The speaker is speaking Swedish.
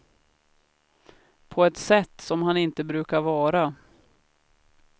På ett sätt som han inte brukar vara.